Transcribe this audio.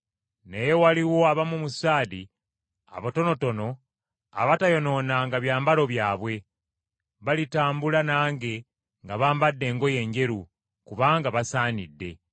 Naye waliwo abamu mu Saadi abatonotono abatayonoonanga byambalo byabwe, balitambula nange nga bambadde engoye enjeru, kubanga basaanidde.